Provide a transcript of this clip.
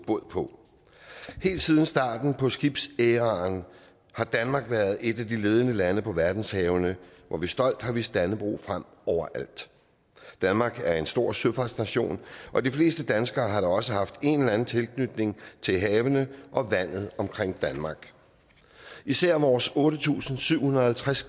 bod på helt siden starten på skibsæraen har danmark været et af de ledende lande på verdenshavene hvor vi stolt har vist dannebrog frem overalt danmark er en stor søfartsnation og de fleste danskere har da også haft en eller anden tilknytning til havene og vandet omkring danmark især vores otte tusind syv hundrede og halvtreds